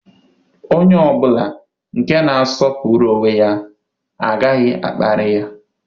Onye ọ bụla nke na-asọpụrụ onwe ya agaghị a kparịrị ya.